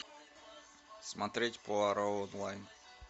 смотреть пуаро онлайн